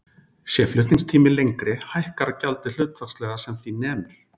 Sé flutningstími lengri hækkar gjaldið hlutfallslega sem því nemur.